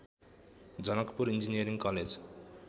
Janakpur engineering college